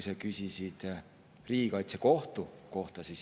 Sa küsisid ka riigikaitsekohtu kohta.